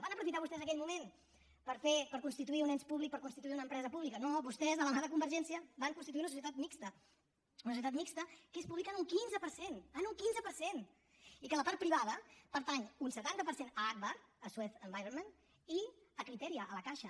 van aprofitar vostès aquell moment per fer per constituir un ens públic per constituir una empresa pública no vostès de la mà de convergència van constituir una societat mixta una societat mixta que és pública en un quinze per cent en un quinze per cent i que la part privada pertany un setanta per cent a agbar a suez environnement i a criteria a la caixa